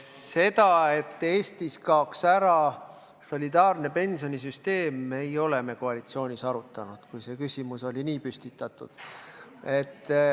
Seda, et Eestis kaoks ära solidaarne pensionisüsteem, ei ole me koalitsioonis arutanud, kui see küsimus oli nii püstitatud.